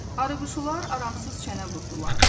Arıquşular aramsız çənə vurdular.